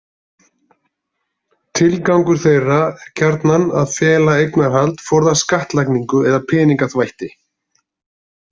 Tilgangur þeirra er gjarnan að fela eignarhald, forðast skattlagningu eða peningaþvætti.